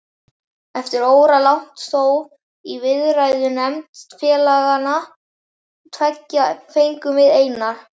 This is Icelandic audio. Eftir óralangt þóf í viðræðunefnd félaganna tveggja fengum við Einar